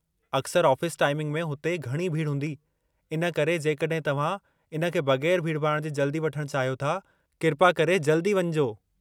अक्सर office timing में हुते घणी भीड़ हूंदी, इन करे जेकड॒हिं तव्हां इन खे बगै़रु भीड़-भाड़ जे जल्दी वठणु चाहियो था किरपा करे जल्दी वञिजो।